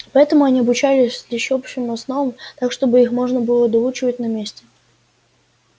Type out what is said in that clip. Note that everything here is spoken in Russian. поэтому они обучались лишь общим основам так чтобы их можно было доучивать на месте